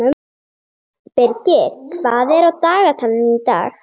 Birgir, hvað er á dagatalinu í dag?